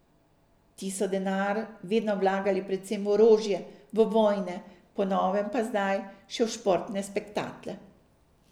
Ti so denar vedno vlagali predvsem v orožje, v vojne, po novem pa zdaj še v športne spektakle.